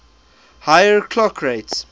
higher clock rates